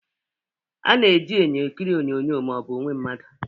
A na-eji enyo ekiri onyonyo ma ọ bụ onwe mmadụ